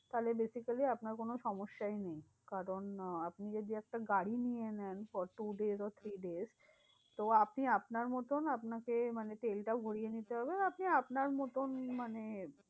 তাহলে basically আপনার কোনো সমস্যাই নেই। কারণ আহ আপনি যদি একটা গাড়ি নিয়ে নেন for two days or three days তো আপনি আপনার মতন আপনাকে মানে তেলটাও ভরিয়ে নিতে হবে। আপনি আপনার মতন মানে